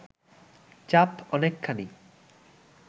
চাপ অনেকখানি